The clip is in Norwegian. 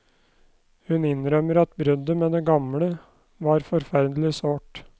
Hun innrømmer at bruddet med det gamle var forferdelig sårt.